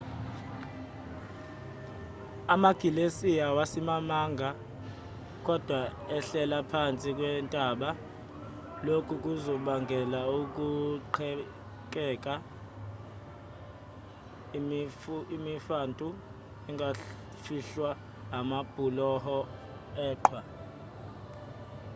amagilesiya awasimamanga kodwa ehlela phansi kwentaba lokhu kuzobangela ukuqhekeka imifantu engafihlwa amabhuloho eqhwa